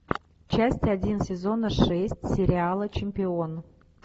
часть один сезона шесть сериала чемпион